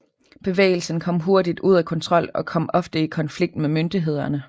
Bevægelsen kom hurtigt ud af kontrol og kom ofte i konflikt med myndighederne